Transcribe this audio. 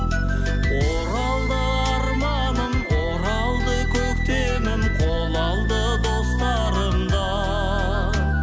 оралды арманым оралды көктемім қол алды достарым да